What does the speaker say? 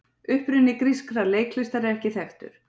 Uppruni grískar leiklistar er ekki þekktur.